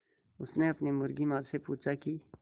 उसने अपनी मुर्गी माँ से पूछा की